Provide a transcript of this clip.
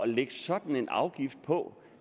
lægge sådan en afgift på